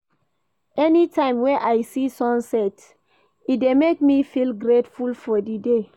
Anytime wey I see sunset e dey make me feel grateful for di day.